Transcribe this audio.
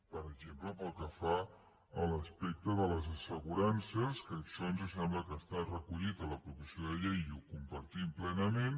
per exemple pel que fa a l’aspecte de les assegurances que això ens sembla que està recollit a la proposició de llei i ho compartim plenament